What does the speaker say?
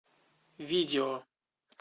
видео